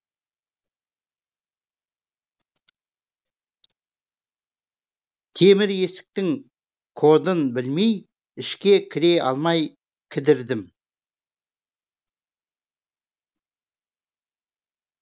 темір есіктің кодын білмей ішке кіре алмай кідірдім